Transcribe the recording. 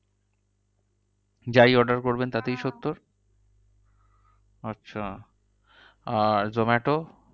যাই order করবেন তাতেই সত্তর? আচ্ছা আর zomato